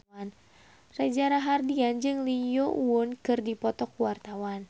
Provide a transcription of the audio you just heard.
Reza Rahardian jeung Lee Yo Won keur dipoto ku wartawan